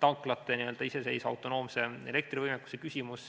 tanklate iseseisva, autonoomse elektrivõimekuse küsimus.